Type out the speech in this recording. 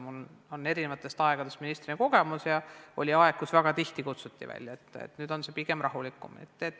Mul on eri aegadest ministri kogemus ja on olnud aegu, kui kutsuti väga tihti välja, nüüd on selles mõttes pigem rahulikum.